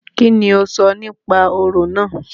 Kíni o sọ nípa orò náà?